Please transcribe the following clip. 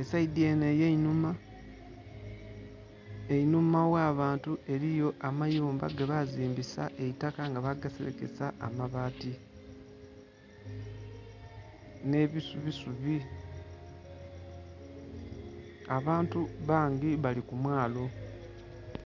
esaidhe enho eyenhuma. Enhuma ghabantu eriyo amayumba gebazimbisa eitaka nga bagaserekesa amabaati nhe busubi subi. Abantu bangi balikumwalo.